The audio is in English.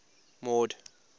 mord